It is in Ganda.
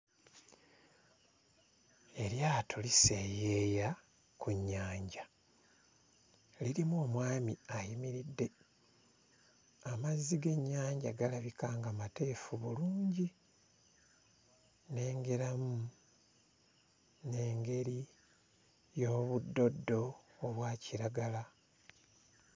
Eryato liseeyeeya ku nnyanja. Lirimu omwami ayimiridde, amazzi g'ennyanja galabika nga mateefu bulungi. Nnengeramu n'engeri y'obuddoddo obwa kiragala.